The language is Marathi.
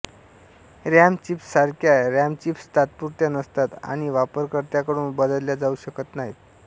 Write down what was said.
रॅमचिप्ससारख्या रॉमचिप्स तात्पुरत्या नसतात आणि वापरकर्त्याकडून बदलल्या जाऊ शकत नाहीत